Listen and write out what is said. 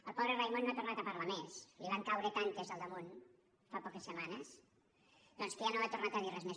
el pobre raimon no ha tornat a parlar més li’n van caure tantes al damunt fa poques setmanes doncs que ja no ha tornat a dir res més